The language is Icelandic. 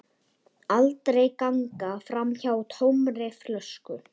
Aldrei ganga framhjá tómri flösku.